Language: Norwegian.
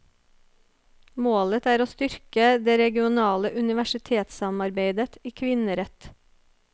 Målet er å styrke det regionale universitetssamarbeidet i kvinnerett.